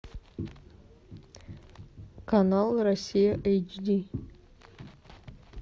канал россия эйч ди